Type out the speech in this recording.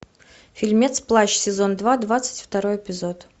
фильмец плащ сезон два двадцать второй эпизод